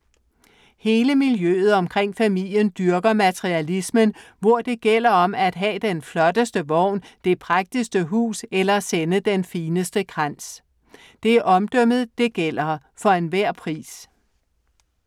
Hele miljøet omkring familien dyrker materialismen, hvor det gælder om at have den flotteste vogn, det prægtigste hus eller sende den fineste krans. Det er omdømmet det gælder, for enhver pris.